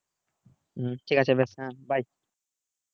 ঠিক আছে বেশ হ্যাঁ bye